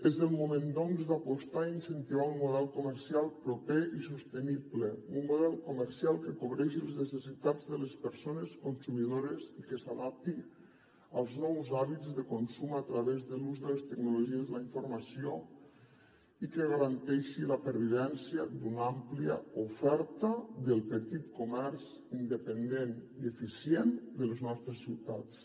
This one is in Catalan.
és el moment doncs d’apostar i incentivar un model comercial proper i sostenible un model comercial que cobreixi les necessitats de les persones consumidores i que s’adapti als nous hàbits de consum a través de l’ús de les tecnologies de la informació i que garanteixi la pervivència d’una àmplia oferta del petit comerç independent i eficient de les nostres ciutats